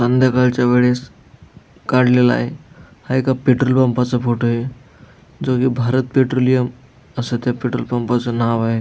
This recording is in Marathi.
संध्याकाळच्या वेळेस काडलेलाय हा एका पेट्रोल पंपाच फोटो य जो की भारत पेट्रोलियम अस त्या पेट्रोल पंपाच नाव आहे.